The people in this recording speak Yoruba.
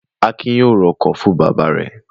Akin yóò ra ọkọ̀ fún bàbá rẹ̀!